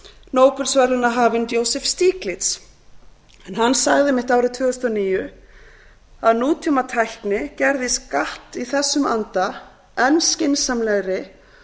nóbelsverðlaunahafinn joseph stieglitz hann sagði einmitt árið tvö þúsund og níu að nútímatækni gerði skatt í þessum anda enn skynsamlegri